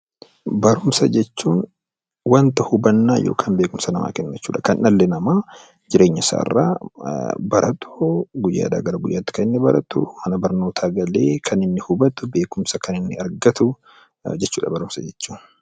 Barumsa jechuun wanta hubannaa yookiin beekumsa namaa kennu jechuu dha. Kan dhalli namaa jireenya isaa irraa baratu, guyyaadhaa gara guyyaatti kan inni baratu, mana barnootaa galee kan inni hubatu, beekumsa kan inni argatu jechuu dha Barumsa jechuun.